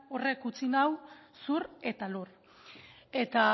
horrek utzi nau zur eta lur eta